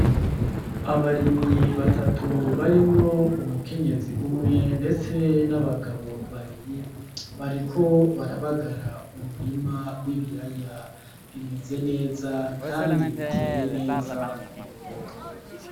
Abarimyi batatu barimwo umukenyezi umwe ndetse n'abagabo babiri bariko barabagara umurima w'ibiraya, bimeze neza kandi biteye neza ku murongo.